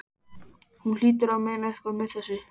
Hún hlýtur að meina eitthvað með þessu!